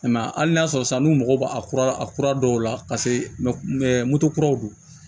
I m'a ye hali n'a y'a sɔrɔ san n'u mago b'a a kura dɔw la paseke moto kuraw do